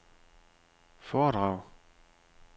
foredrag